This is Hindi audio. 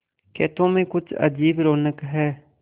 खेतों में कुछ अजीब रौनक है